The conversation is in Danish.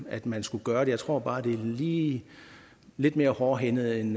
at man skulle gøre det jeg tror bare det er lige lidt mere hårdhændet end